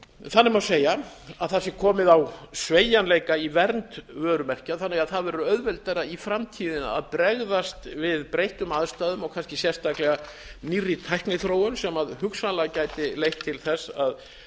þannig má segja að það sé komið á sveigjanleika í vernd vörumerkja þannig að það verður auðveldara í framtíðinni að bregðast við breyttum aðstæðum og kannski sérstaklega nýrri tækniþróun sem hugsanlega gæti leitt til þess að